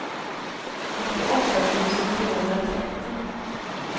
åttioåtta tusen trehundratrettio